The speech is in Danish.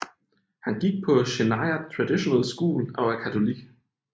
Han gik på Cheyenna Traditional School og er katolik